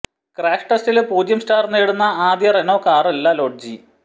crash ടെസ്റ്റില് പൂജ്യം star നേടുന്ന ആദ്യ റെനോ കാറല്ല ലോഡ്ജി